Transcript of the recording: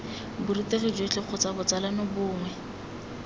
borutegi jotlhe kgotsa botsalano bongwe